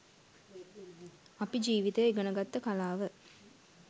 අපි ජිවිතය ඉගෙන ගත්ත කලාව